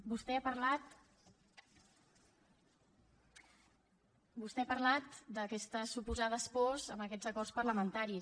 vostè ha parlat d’aquestes suposades pors amb aquests acords parlamentaris